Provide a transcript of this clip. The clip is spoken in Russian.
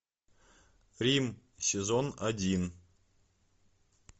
рим сезон один